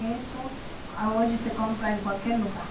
Isso hoje se compra em qualquer lugar.